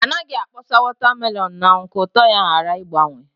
Anaghị akpọsa wọta melọn n’anwụ ka ụtọ ya ghara ịgbanwe